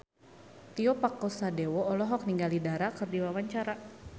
Tio Pakusadewo olohok ningali Dara keur diwawancara